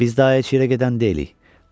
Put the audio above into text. Biz daha əyiciyə gedən deyilik.